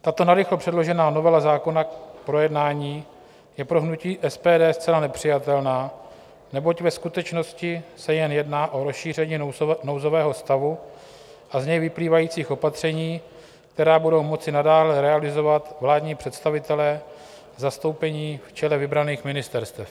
Tato narychlo předložená novela zákona k projednání je pro hnutí SPD zcela nepřijatelná, neboť ve skutečnosti se jen jedná o rozšíření nouzového stavu a z něj vyplývajících opatření, která budou moci nadále realizovat vládní představitelé zastoupení v čele vybraných ministerstev.